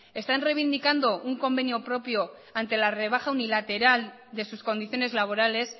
están reivindicando un convenio propio ante la rebaja unilateral de sus condiciones laborales